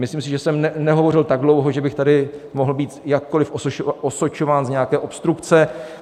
Myslím si, že jsem nehovořil tak dlouho, že bych tady mohl být jakkoliv osočován z nějaké obstrukce.